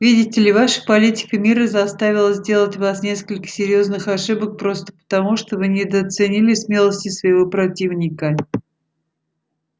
видите ли ваша политика мира заставила сделать вас несколько серьёзных ошибок просто потому что вы недооценили смелости своего противника